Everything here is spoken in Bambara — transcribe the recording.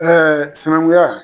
Ɛɛ sinɛnkunya